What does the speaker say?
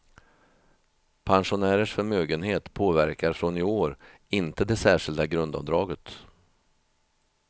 Pensionärers förmögenhet påverkar från i år inte det särskilda grundavdraget.